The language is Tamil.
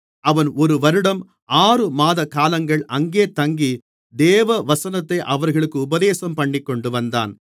அவன் ஒரு வருடம் ஆறுமாத காலங்கள் அங்கே தங்கி தேவவசனத்தை அவர்களுக்கு உபதேசம்பண்ணிக்கொண்டுவந்தான்